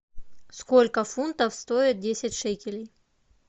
сколько фунтов стоит десять шекелей